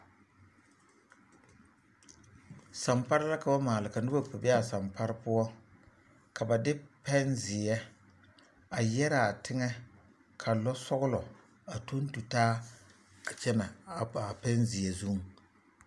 Sampare la ka ba maale ka noba kpɛ be a sampare poɔ ka ba de pɛnzeɛ a yɛraa teŋɛ ka lɔɔsɔglɔ a tɔŋ tu taa a kyɛnɛ a a pɛnzeɛ zuŋ.